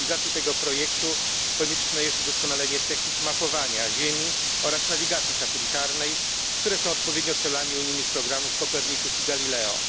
Dla realizacji tego projektu konieczne jest udoskonalenie technik mapowania ziemi oraz nawigacji satelitarnej, które są odpowiednio celami unijnych programów Copernicus i Galileo.